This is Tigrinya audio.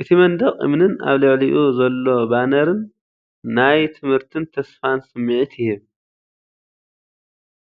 እቲ መንደቕ እምንን ኣብ ልዕሊኡ ዘሎ ባነርን ናይ ትምህርትን ተስፋን ስምዒት ይህብ።